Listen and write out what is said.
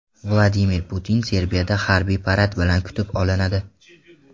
Vladimir Putin Serbiyada harbiy parad bilan kutib olinadi.